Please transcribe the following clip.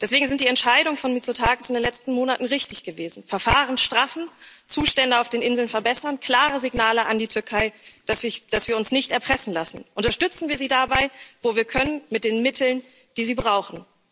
Deswegen sind die Entscheidungen von Mitsotakis in den letzten Monaten richtig gewesen Verfahren straffen, Zustände auf den Inseln verbessern, klare Signale an die Türkei, dass wir uns nicht erpressen lassen. Unterstützen wir sie dabei, wo wir können, mit den Mitteln, die sie brauchen.